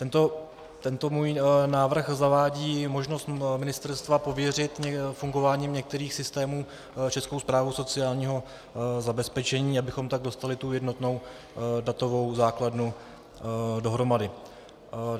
Tento můj návrh zavádí možnost ministerstva pověřit fungováním některých systémů Českou správu sociálního zabezpečení, abychom tak dostali tu jednotnou datovou základnu dohromady.